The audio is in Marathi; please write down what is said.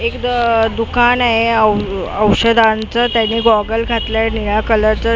एक द दुकान आहे औ औषधांचं त्याने गॉगल घातलाय निळ्या कलरचा टी श --